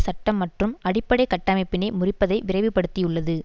சட்ட மற்றும் அடிப்படை கட்டமைப்பினை முறிப்பதை விரைவுபடுத்தியுள்ளது